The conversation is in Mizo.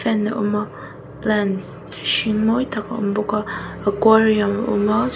a awm a plants hring mawi tak a awm bawk a aquarium a awm a.